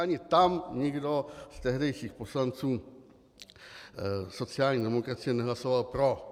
Ani tam nikdo z tehdejších poslanců sociální demokracie nehlasoval pro.